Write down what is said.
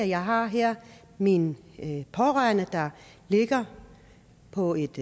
jeg har her min pårørende der ligger på et